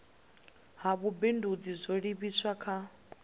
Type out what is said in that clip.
ha vhubindudzi zwo livhiswa kha